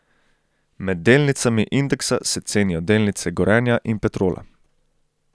Med delnicami indeksa se cenijo delnice Gorenja in Petrola.